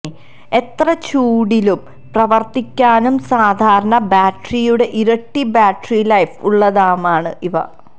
എത്ര ചൂടിലും പ്രവർത്തിക്കാനും സാധാരണ ബാറ്ററിയുടെ ഇരട്ടി ബാറ്ററിലൈഫ് ഉള്ളതുമാണ് ഇവ